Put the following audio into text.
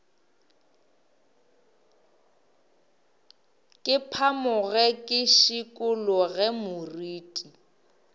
ke phamoge ke šikologe moriti